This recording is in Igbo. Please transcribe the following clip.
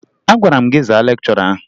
Agwara m gị zaa lekchọra ahụ!